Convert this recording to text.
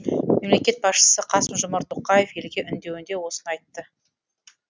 мемлекет басшысы қасым жомарт тоқаев елге үндеуінде осыны айтты